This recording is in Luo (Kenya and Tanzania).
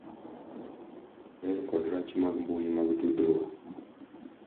Ber kod rach mag mbui mag tudruok